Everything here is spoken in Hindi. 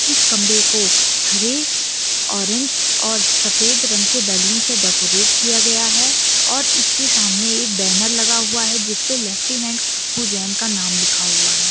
इस कमरे को हरे ऑरेंज और सफ़ेद रंग के बैलून से डेकोरेट किया गया है और इसके सामने एक बैनर लगा हुआ है जिसपे लेफ्टिनेंट खुशबू जैन का नाम लिखा हुआ है।